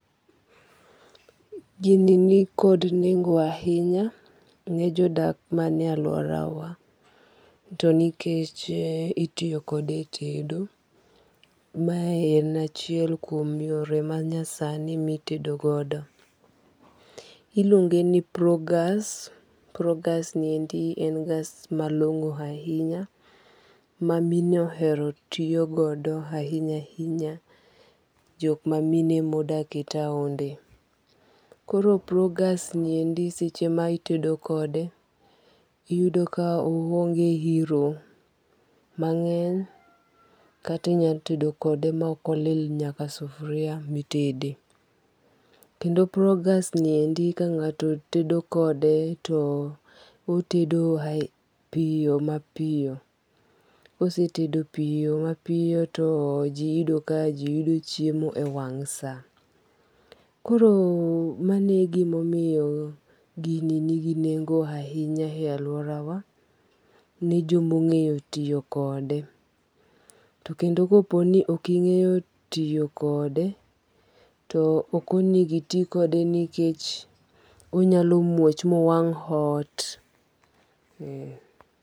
Gini ni kod nengo ahinya ne jodak manie alworawa. To nikech itiyo kode e tedo, mae en achiel kuom yore ma nyasani ma itedo godo. Iluonge ni Progas. Progas ni endi en gas malongo ahinya. Ma mine ohero tiyo godo ahinya ahinya. Jok ma mine ma odak e taonde. Koro progas ni endi seche ma itedo kode, iyudo ka oonge iro mangény, kata inya tedo kode ma ok olil nyaka sufria mitede. Kendo progas ni endi ka ngáto tedo kode, to otedo piyo ma piyo. Kosetedo piyo ma piyo jiyudo ka jiyudo chiemo e wang' sa. Koro mano e gima omiyo gini nigi nengo ahinya e alworawa, ne joma ongéyo tiyo kode. To kendo ka po ni ok ingéyo tiyo kode to ok onego iti kode nikech onyalo muoch mowang' ot.